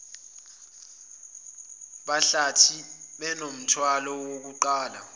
behlathi banomthwalo wokuqapha